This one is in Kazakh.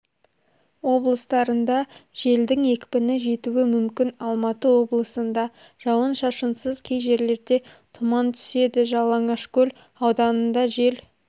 облыстарында желдің екпіні жетуі мүмкін алматы облысында жауын-шашынсыз кей жерлерде тұман түседі жалаңашкөл ауданында жел